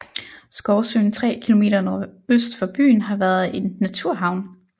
Skovsøen 3 km nordøst for byen har været en naturhavn